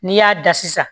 N'i y'a da sisan